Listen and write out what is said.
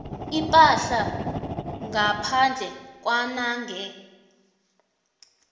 ipahla ngaphandle kwanange